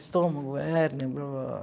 Estômago, hérnia, blá, blá, blá.